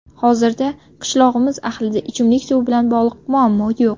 Hozirda qishlog‘imiz ahlida ichimlik suvi bilan bog‘liq muammo yo‘q.